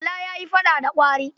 Bala ya yi faɗa da kwari.